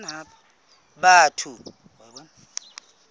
batho